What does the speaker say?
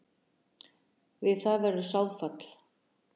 Við það verður sáðfall.